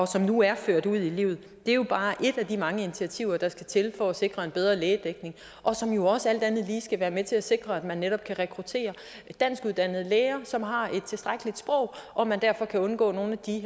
som nu er ført ud i livet jo bare er et af de mange initiativer der skal til for at sikre en bedre lægedækning og som jo også alt andet lige skal være med til at sikre at man netop kan rekruttere dansk uddannede læger som har et tilstrækkeligt sprog og man derfor kan undgå nogle